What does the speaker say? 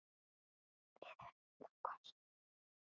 Við höfum þá kosið rétt.